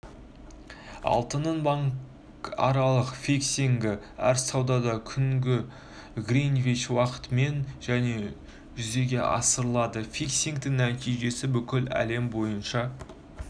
алтынның банкаралық фиксингі әр сауда күні гринвич уақытымен және жүзеге асырылады фиксингтің нәтижесі бүкіл әлем бойынша